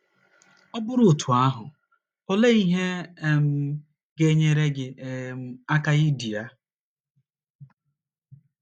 Ọ bụrụ otú ahụ, olee ihe um ga - enyere gị um aka idi ya?